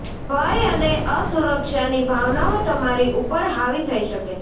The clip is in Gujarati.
ભય અને અસુરક્ષાની ભાવનાઓ તમારી ઉપર હાવિ થઇ શકે છે